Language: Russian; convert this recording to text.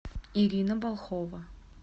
ирина балхова